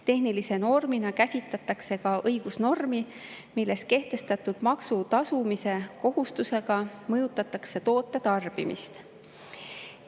Tehnilise normina käsitletakse ka õigusnormi, milles kehtestatud maksu tasumise kohustusega mõjutatakse toote tarbimist.